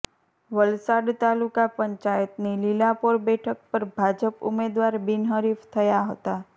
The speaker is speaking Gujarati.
વલસાડ તાલુકા પંચાયતની લીલાપોર બેઠક પર ભાજપ ઉમેદવાર બિનહરીફ થયા હતા